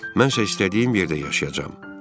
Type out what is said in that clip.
Mən isə istədiyim yerdə yaşayacam.